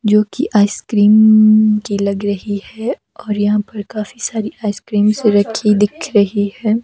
जो की ice cream उम्म की लग रही है और यहां पर काफी सारी आइस क्रीमस रखी दिख रही है।